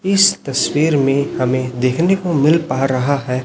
इस तस्वीर में हमें देखने को मिल पा रहा है।